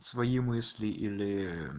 свои мысли или